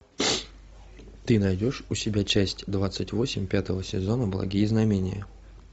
ты найдешь у себя часть двадцать восемь пятого сезона благие знамения